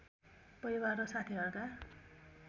परिवार र साथीहरूका